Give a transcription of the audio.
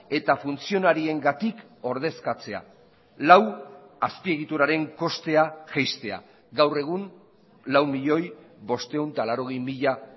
eta funtzionariengatik ordezkatzea lau azpiegituraren kostea jaistea gaur egun lau milioi bostehun eta laurogei mila